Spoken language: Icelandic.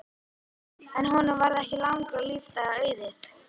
En honum varð ekki langra lífdaga auðið.